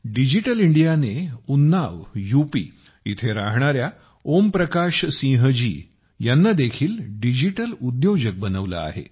digital इंडियाने Unnao UP येथे राहणाऱ्या ओम प्रकाश सिंह जी यांना देखील डिजिटल उद्योजक बनवले आहे